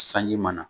Sanji mana